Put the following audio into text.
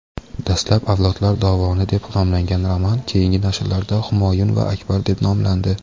Dastlab "Avlodlar dovoni" deb nomlangan roman keyingi nashrlarda "Humoyun va Akbar" deb nomlandi.